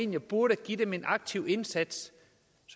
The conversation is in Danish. man burde give dem en aktiv indsats